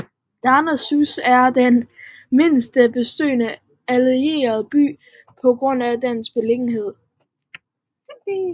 Darnassus er den mindst besøgte Alliancebyen på grund af dens beliggenhed